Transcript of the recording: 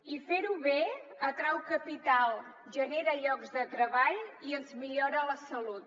i fer ho bé atrau capital genera llocs de treball i ens millora la salut